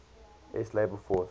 s labor force